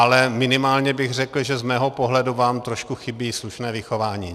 Ale minimálně bych řekl, že z mého pohledu vám trošku chybí slušné vychování.